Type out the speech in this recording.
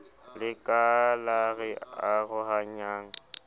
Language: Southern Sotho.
le ka la re arohanyang